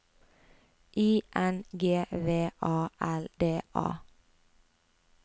I N G V A L D A